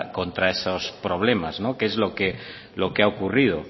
contra esos problemas no que es que lo que ha ocurrido